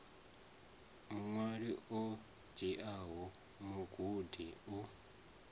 vhuṅwali ho dziaho mugudi u